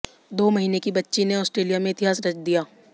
दो महीने की बच्ची ने ऑस्ट्रेलिया में इतिहास रच दिया